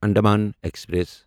Andaman express